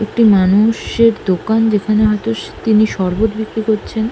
একটি মানুষ এর দোকান যেখানে হয়তো তিনি শরবত বিক্রি করছেন।